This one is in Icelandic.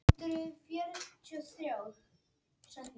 Vesturnorræna var töluð í Noregi, austurnorræna í Svíþjóð og Danmörku.